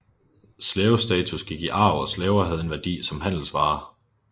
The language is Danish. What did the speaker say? Slavestatus gik i arv og slaver havde en værdi som handelsvare